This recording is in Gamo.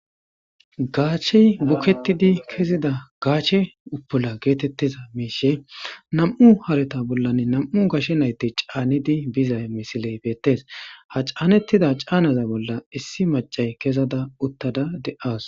Gashey buketidi kezida gashe utula getetiza mishi nam'u hareta bolani nam'u gashe nayti c'anidi biza missile betes ha c'anetidà c'anaza bola issi mac'iya kezada utada de'awus.